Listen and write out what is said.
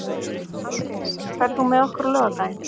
Andrés, ferð þú með okkur á laugardaginn?